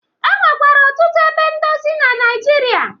E nwekwara ọtụtu ebe ndozi na Naịjirịa.